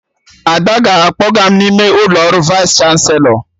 Ada ga-akpọga m n'ime ụlọ ọrụ Vaịs chanselọ